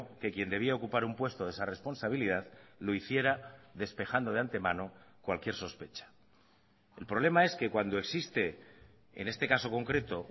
que quien debía ocupar un puesto de esa responsabilidad lo hiciera despejando de antemano cualquier sospecha el problema es que cuando existe en este caso concreto